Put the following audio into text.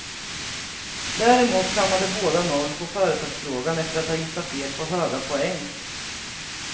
Däremot kammade båda noll på företagsfrågan efter att ha gissat fel på höga poäng.